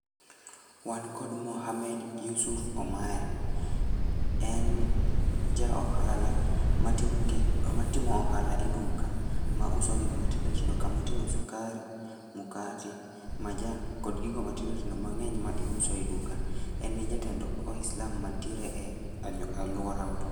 Wan kod Mohamed Yusuf Omaya, en ja ohala matimo gik matimo ohala e duka ma uso gik matindotindo kama oting'o sukari, mukate, majan kod gigo matindotindo mang'eny ma iuso e duka. En e jatend waislam mantire e alworawa